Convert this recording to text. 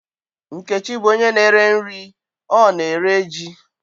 Nkechi bụ onye na-ere nri, ọ na-ere ji.